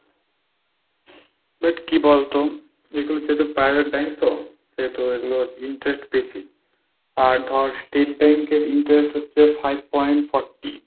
but কি বলতো? এগুলোর হচ্ছে private bank তো এগুলোর interest বেশি আর ধর State bank এর interest হচ্ছে five point forty।